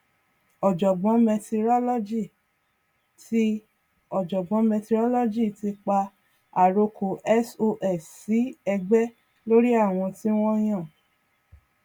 ọjọgbọn mẹtirolọgì ti ọjọgbọn mẹtirolọgì ti pa àrokò sos sí ẹgbẹ lórí àwọn tí wọn yàn